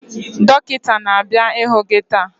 Dọkịta na-abịa ịhụ gị taa